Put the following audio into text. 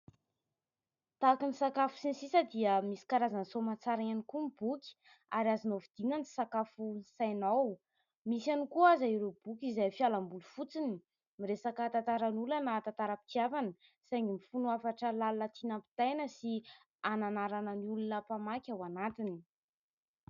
Tahaka ny sakafo sy ny sisa dia misy karazany soamantsara ihany koa ny boky ary azonao vidina ny sakafon'ny sainao misy ihany koa aza ireo boky izay fialamboly fotsiny miresaka tantaran'olona na tantaram-pitiavana saingy mifono hafatra lalina tina ampitaina sy hananarana ny olona mpamaky ao anatiny